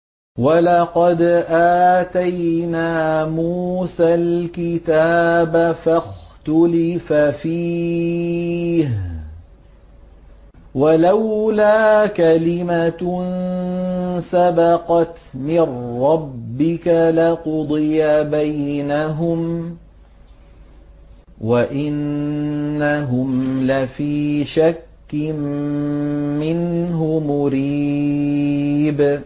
وَلَقَدْ آتَيْنَا مُوسَى الْكِتَابَ فَاخْتُلِفَ فِيهِ ۗ وَلَوْلَا كَلِمَةٌ سَبَقَتْ مِن رَّبِّكَ لَقُضِيَ بَيْنَهُمْ ۚ وَإِنَّهُمْ لَفِي شَكٍّ مِّنْهُ مُرِيبٍ